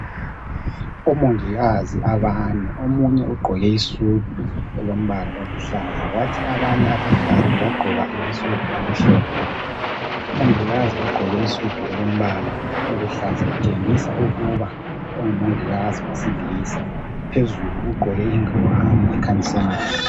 Omongikazi abane, omunye ugqoke isudu elombala oluhlaza, kwathi abanye abathathu bagqoka amasudu amhlophe. Umongikazi ogqoke isudu elombala oluhlaza utshengisa ukuba engumongikazi wesilisa. Phezulu ugqoke ingwane ekhanyiselayo.